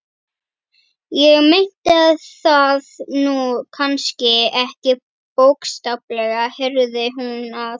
Ég meinti það nú kannski ekki bókstaflega, heyrði hún að